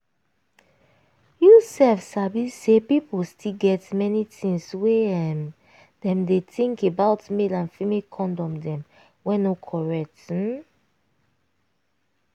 you sef sabi say pipu still get plenty things wey um dem dey think about male and female condom dem wey no correct. um